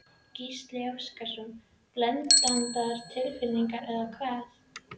Gísli Óskarsson: Blendnar tilfinningar eða hvað?